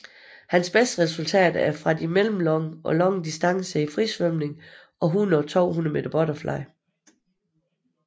Hans beste resultater er fra de mellemlange og lange distancer i frisvømning og 100 og 200 meter butterfly